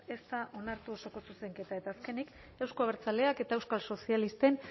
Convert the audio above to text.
ez da onartu osoko zuzenketa eta azkenik euzko abertzaleak eta euskal sozialisten